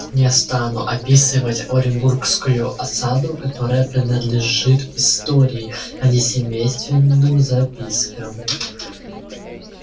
не стану описывать оренбургскую осаду которая принадлежит истории а не семейственным запискам